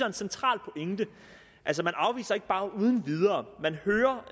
en central pointe altså man afviser ikke bare uden videre man hører